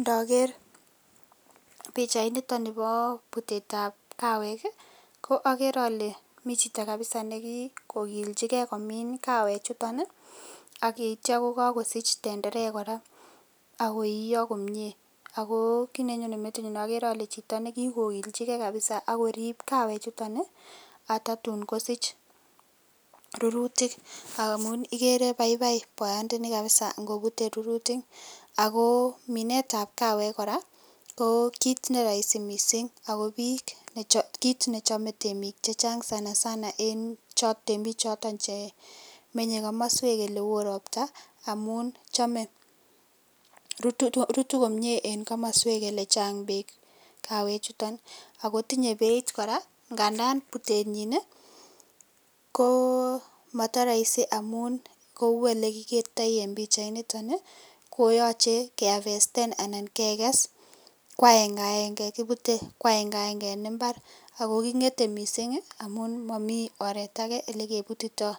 Ndaker bichait niton Nebo butet ab kawek koakere ale mi Chito kabisa nikikokiljigei komin kawek chuton akityo kokakosich tenderek koraa akoyio komie ako kit nenyonen metit nyun agere Kole Chito nekikokiljigei kabisa akorib kawek chuton atatun kosich rururtik amun igere baibai bayat Noni kabisa kobute rururtik ako Minet ab kawek kora ko kit nerahisi mising akobik AK kit neachome temik chechang sanasana en choton temik Chemenye kamaswek ab robta amun chome korut komie en kamaswek choton chechang bek. kawek chuton akotinye Beit koraa ngandan butenyin ko matarahisi amun Kou elekikertai en bichait niton koyache kekes kwaege aenge akebute kwaenge aenge en imbar akokingete mising amun mamiten oret ake olekebutito